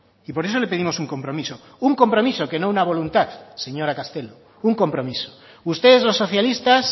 y por eso le pedimos un compromiso un compromiso que no una voluntad señora castelo un compromiso ustedes los socialistas